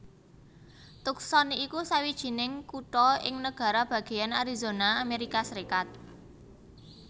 Tucson iku sawijining kutha ing nagara bagéyan Arizona Amérika Sarékat